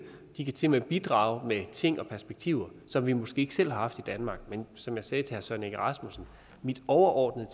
de kan simpelt hen bidrage med ting og perspektiver som vi måske ikke selv har haft i danmark men som jeg sagde til herre søren egge rasmussen min overordnede